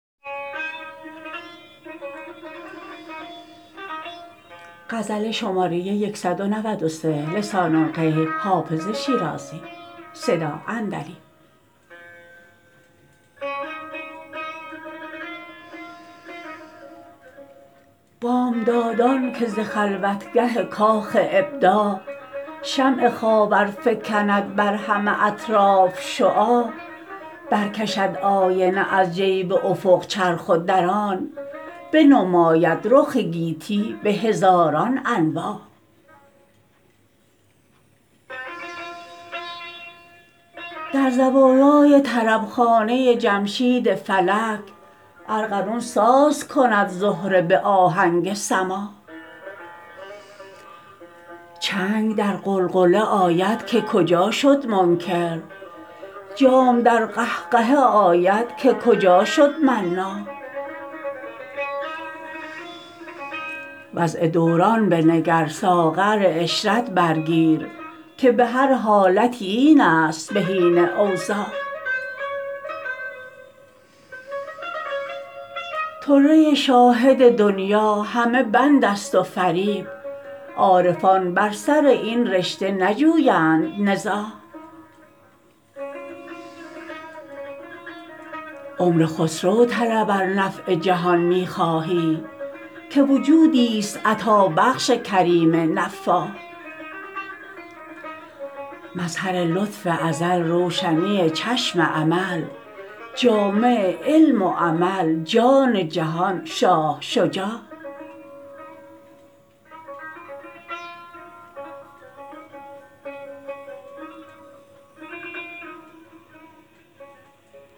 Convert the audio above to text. بامدادان که ز خلوتگه کاخ ابداع شمع خاور فکند بر همه اطراف شعاع برکشد آینه از جیب افق چرخ و در آن بنماید رخ گیتی به هزاران انواع در زوایای طربخانه جمشید فلک ارغنون ساز کند زهره به آهنگ سماع چنگ در غلغله آید که کجا شد منکر جام در قهقهه آید که کجا شد مناع وضع دوران بنگر ساغر عشرت بر گیر که به هر حالتی این است بهین اوضاع طره شاهد دنیی همه بند است و فریب عارفان بر سر این رشته نجویند نزاع عمر خسرو طلب ار نفع جهان می خواهی که وجودیست عطابخش کریم نفاع مظهر لطف ازل روشنی چشم امل جامع علم و عمل جان جهان شاه شجاع